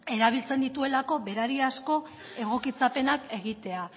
erabiltzen dituelako berariazko egokitzapenak egitea